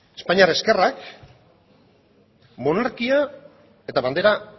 espainiar ezkerrak monarkia eta bandera